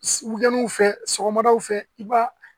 fɛ sɔgɔmadaw fɛ i b'a